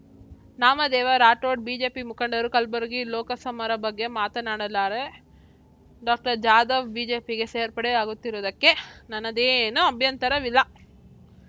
Namdev Rathod BJP ಮುಖಂಡರು ಕಲಬುರಗಿ ಲೋಕ ಸಮರ ಬಗ್ಗೆ ಮಾತನಾಡಲಾರೆ ಡಾಕ್ಟರ್ ಜಾಧವ್‌ ಬಿಜೆಪಿಗೆ ಸೇರ್ಪಡೆ ಆಗುತ್ತಿರುವುದಕ್ಕೆ ನನ್ನದೇನೂ ಅಭ್ಯಂತರವಿಲ್ಲ